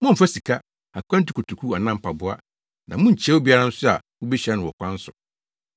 Mommfa sika, akwantu kotoku anaa mpaboa; na munnkyia obiara nso a mubehyia no wɔ ɔkwan so.